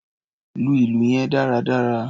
Lu ìlù yẹn dáradára!